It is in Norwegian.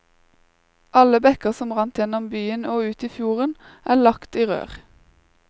Alle bekker som rant gjennom byen og ut i fjorden, er lagt i rør.